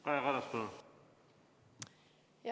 Kaja Kallas, palun!